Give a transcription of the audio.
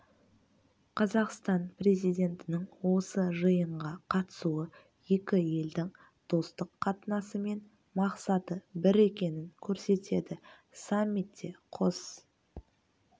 қазақстан президентінің осы жиынға қатысуы екі елдің достық қатынасы мен мақсаты бір екенін көрсетеді саммитте қос